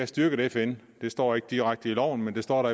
styrket fn det står ikke direkte i loven men der står